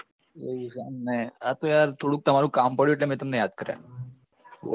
એવું છે એમને આતો યાર થોડુક તમારું કામ પડ્યું એટલે મેં તમને યાદ કર્યા